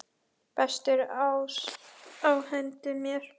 Bestur ás á hendi mér.